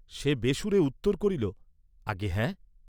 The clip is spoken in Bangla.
সে বেসুরে উত্তর করিল, আজ্ঞে হ্যাঁ।